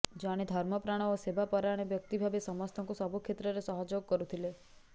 ଜଣେ ଧର୍ମପ୍ରାଣ ଓ ସେବା ପରାୟଣ ବ୍ୟକ୍ତି ଭାବେ ସମସ୍ତଙ୍କୁ ସବୁ କ୍ଷେତ୍ରେର ସହଯୋଗ କରୁଥିଲେ